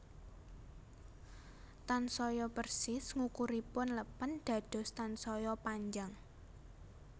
Tansaya persis ngukuripun lèpèn dados tansaya panjang